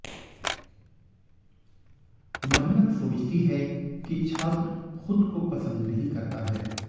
महिला सोचती है कि छात्र खुद को पसंद नहीं करता है